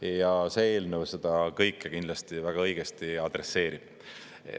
Ja see eelnõu seda kõike kindlasti väga õigesti adresseerib.